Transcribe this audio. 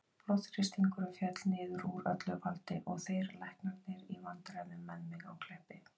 Blóðþrýstingurinn féll niður úr öllu valdi og þeir læknarnir í vandræðum með mig á Kleppi.